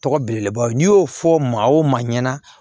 Tɔgɔ belebelebaw n'i y'o fɔ maa o maa ɲɛna